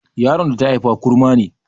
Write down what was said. Yaron da ta haifa kurma ne